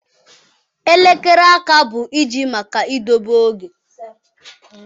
Elekere áká bụ iji maka idobe oge.